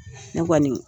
Ne kɔni